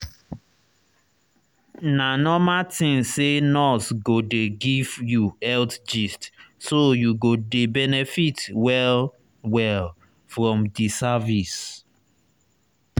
na normal thing say nurse go dey give you health gist so you go dey benefit well-well from di service.